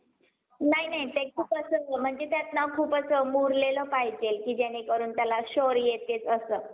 तेव्हा जाऊन आपल्याला कुठेतरी पीक होतो. आणि जर आपण काही बघतो की, तोच पाऊस थांबला. आणि एकाएकी ऊन आली तर, आपला जो पीक आहे तो एकाएकी वाढतो. त्याला वाढ येते आणि,